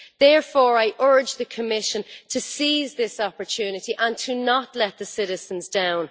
Therefore, I urge the Commission to seize this opportunity and to not let the citizens down.